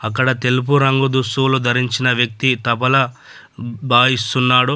అక్కడ తెలుపు రంగు దుస్తులు ధరించిన వ్యక్తి తబలా బ్-బాయిస్తున్నాడు .